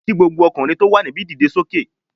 Kí gbogbo ọkùnrin tó wà níbi dìde sókè